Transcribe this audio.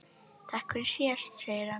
Takk fyrir síðast, segir hann.